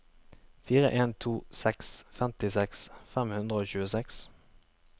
fire en to seks femtiseks fem hundre og tjueseks